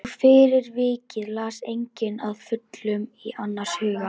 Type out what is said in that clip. Og fyrir vikið les enginn að fullu í annars hug.